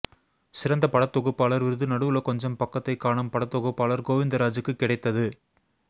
சிறந்த படத்தொகுப்பாளர் விருது நடுவுல கொஞ்சம் பக்கத்தைக் காணோம் படத் தொகுப்பாளர் கோவிந்தராஜூக்கு கிடைத்தது